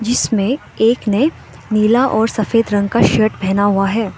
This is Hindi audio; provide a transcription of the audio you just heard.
इसमें एक ने नीला और सफेद रंग का शर्ट पहना हुआ है।